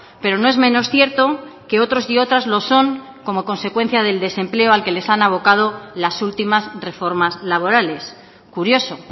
pero no es menos cierto que otros y otras lo son como consecuencia del desempleo al que les han abocado las últimas reformas laborales curioso